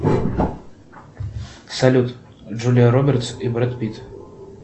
салют джулия робертс и брэд питт